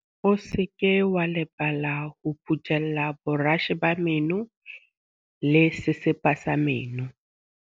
O se ke wa lebala ho phuthella borashe ba meno le sesepa sa meno.